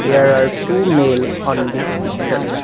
there are two male on this picture.